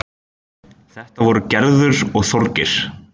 Þetta voru Gerður og Þorgeir.